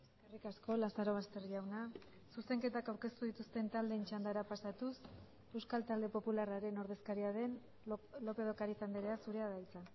eskerrik asko lazarobaster jauna zuzenketak aurkeztu dituzten taldeen txandara pasatuz euskal talde popularraren ordezkaria den lópez de ocariz andrea zurea da hitza